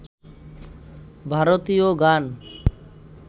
ভারতীয় গান